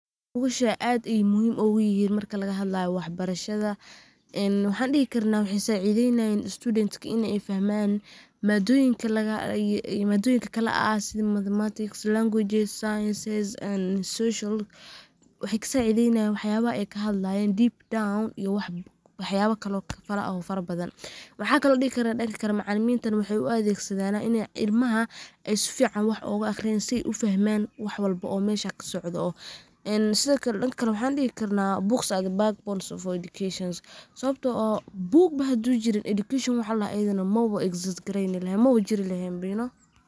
Bugashaan aad bey muhiim ugu yihiin marka laga hadlaayo wax barashada ,ee waxaan dhihi karnaa waxey sacideynayiin students ka inay fahmaan, madoyinka kala ah, sida Mathematics, languages, sciences and social, waxey ka sacideynayiin waxyabaha ay ka hadlayiin deepdown iyo waxyaaba kale oo fara badan . Maxaan kale oon dhihi karaa dhanka kale, macalimintana waxey u adegsadanaa in ay ilamaha sifican wax ooga aqriyaan si ay u fahmaan wax walbo oo meesha ka socdo. Sidokale dhanka kale waxaan dhihi karnaa books are the backbones of our educations, sawabtoo oo book bo haduu jirin education wax la dhaho mawa exist gareyni laheen mawa jiri laheen ba you know.